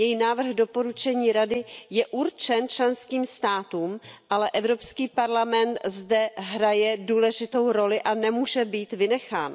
Její návrh doporučení Rady je určen členským státům, ale Evropský parlament zde hraje důležitou roli a nemůže být vynechán.